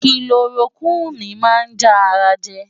Kilorokúìnì máa ń já ara jẹ.